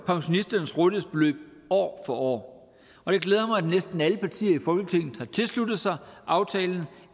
pensionisternes rådighedsbeløb år for år og det glæder mig at næsten alle partier i folketinget har tilsluttet sig aftalen